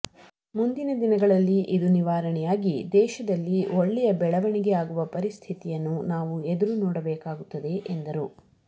ಮುಂದಿನ ದಿನಗಳಲ್ಲಿ ಇದು ನಿವಾರಣೆಯಾಗಿ ದೇಶದಲ್ಲಿ ಒಳ್ಳೆಯ ಬೆಳವಣಿಗೆ ಆಗುವ ಪರಿಸ್ಥಿತಿಯನ್ನು ನಾವು ಎದುರು ನೋಡಬೇಕಾಗುತ್ತದೆ ಎಂದರು